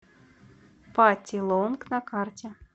пати лонг на карте